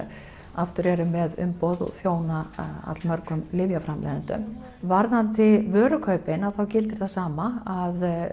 aftur eru með umboð og þjóna allmörgum lyfjaframleiðendum varðandi vörukaupin að þá gildir það sama að